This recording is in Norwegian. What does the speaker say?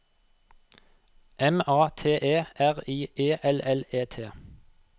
M A T E R I E L L E T